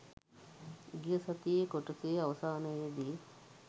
ගිය සතියේ කොටසේ අවසානයේදී